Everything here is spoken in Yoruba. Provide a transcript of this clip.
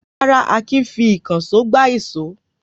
Rárá, Akin fi ìkànṣó gbá ìṣó.